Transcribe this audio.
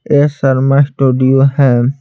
ये शर्मा स्टूडियो है।